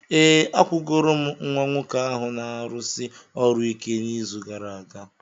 Ee, akwụgoro m nwa nwoke ahụ na-arụsi ọrụ ike n'izu gara aga.